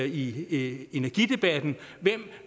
i energidebatten hvem